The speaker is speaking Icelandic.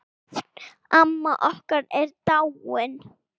Sjöfn, amma okkar, er dáin.